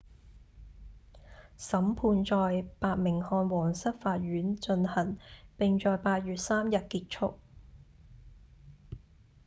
審判在伯明翰皇室法院進行並在8月3日結束